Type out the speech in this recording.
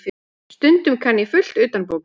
Stundum kann ég fullt utanbókar.